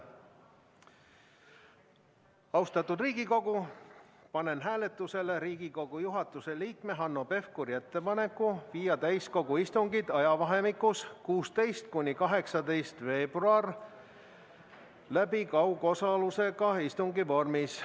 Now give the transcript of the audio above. Austatud Riigikogu, panen hääletusele Riigikogu juhatuse liikme Hanno Pevkuri ettepaneku viia täiskogu istungid ajavahemikus 16.–18. veebruar läbi kaugosalusega istungi vormis.